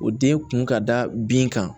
O den kun ka da bin kan